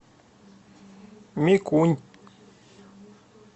микунь